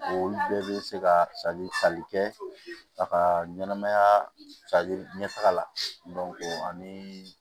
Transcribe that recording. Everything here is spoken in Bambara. Olu bɛɛ bɛ se ka kɛ a ka ɲɛnɛmaya ɲɛtaga la ani